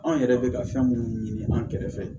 Anw yɛrɛ bɛ ka fɛn minnu ɲini an kɛrɛfɛ